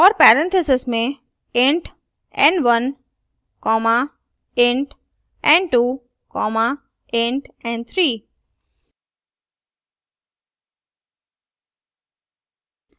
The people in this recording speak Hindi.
और parentheses में int n1 comma int n2 comma int n3